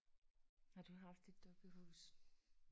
Har du haft et dukkehus?